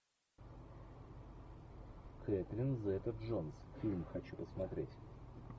кэтрин зета джонс фильм хочу посмотреть